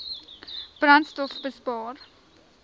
brandstofbespaar